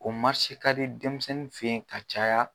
O ka di denmisɛnnin fɛ yen ka caya